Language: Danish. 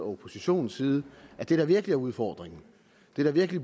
oppositionens side det der virkelig er udfordringen det der virkelig